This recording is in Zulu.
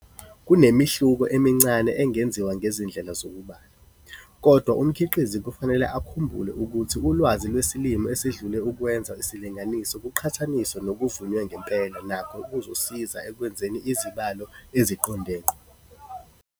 Kunemehluko emincane engenziwa ngezindlela zokubala, kodwa umkhiqizi kufanele akhumbule ukuthi ulwazi lwesilimo esedlule ukwenza isilinganiso kuqhathaniswe nokuvunwe ngempela nakho kuzosiza ekwenzeni izibalo eziqonde ngqo.